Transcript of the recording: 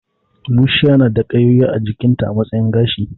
Bushiya na da ƙayoyi a jikinta a matsayin gashi